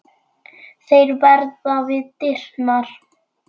Hann er algert öngvit!